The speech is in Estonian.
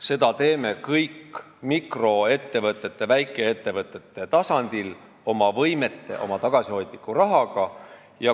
Me teeme seda kõik mikroettevõtete, väikeettevõtete tasandil oma võimete piires ja oma tagasihoidliku rahaga.